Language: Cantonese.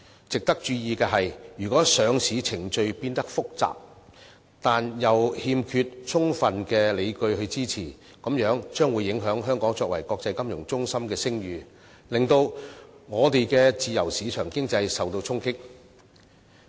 值得注意的是，如果上市程序變得複雜，但又欠缺充分理據支持，便會影響香港作為國際商業和金融中心的聲譽，令我們的自由市場經濟受到衝擊。